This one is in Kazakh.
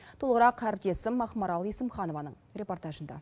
толығырақ әріптесім ақмарал есімханованың репортажында